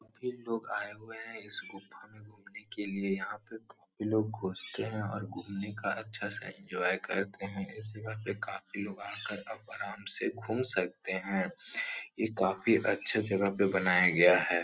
काफी लोग आए हुए हैं इस गुफा में घूमने के लिए। यहाँ पर काफ़ी लोग घुसते हैं और घूमने का अच्छा सा एन्जॉय करते हैं। इस जगह पे काफ़ी लोग आ कर अब आराम से घूम सकते हैं। ये काफ़ी अच्छा जगह पर बनाया गया है।